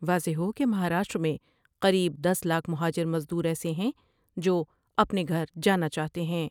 واضح ہو کہ مہاراشٹر میں قریب دس لاکھ مہاجر مز دورایسے ہیں جو اپنے گھر جانا چاہتے ہیں ۔